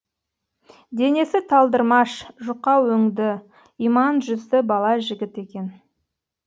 денесі талдырмаш жұқа өңді иман жүзді бала жігіт екен